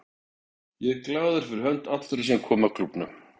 Ég er glaður fyrir hönd allra sem koma að klúbbnum.